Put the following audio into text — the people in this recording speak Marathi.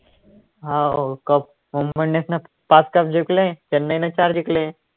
हाव cup मुंबई इंडियन्स ने पाच cup जिकले चेन्नई ने चार जिकले